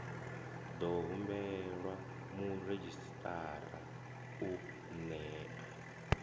ḓo humbelwa muredzhisitarara u nṋea